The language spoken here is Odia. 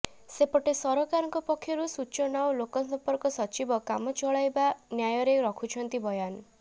ସେପେଟ ସରକାରଙ୍କ ପକ୍ଷରୁ ସୂଚନା ଓ ଲୋକସମ୍ପର୍କ ସଚିବ କାମଚଳାଇବା ନ୍ୟାୟରେ ରଖୁଛନ୍ତି ବୟାନ